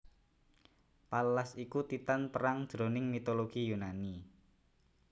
Pallas iku Titan perang jroning mitologi Yunani